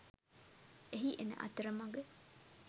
එහි එන අතරමග